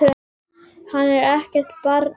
Hann er ekkert barn lengur.